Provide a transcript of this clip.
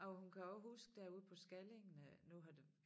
Og hun kan også huske derude på Skallingen øh nu har det